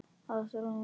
Ástrós mín.